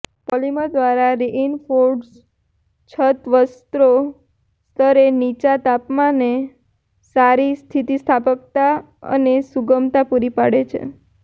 polymer દ્વારા reinforced છત વસ્ત્રો સ્તરે નીચા તાપમાને સારી સ્થિતિસ્થાપકતા અને સુગમતા પૂરી પાડે છે